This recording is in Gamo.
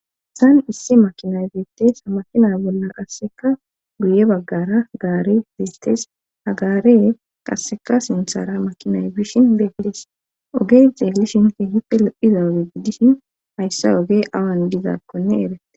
Saan issi makinay zeettes makina bolla qasseka guye baggara gaare zeettes hagaare qasseka sinthara makinay bishin beegidees ogee xeelishinti hippe lo7iza oge giddishin haysse oge awan dizaakkonne eratte